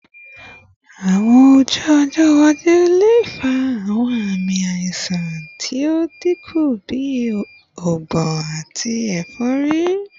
Awọn oyun ọjọ iwaju le fa awọn aami aiṣan ti o dinku bi ọgbun ati efori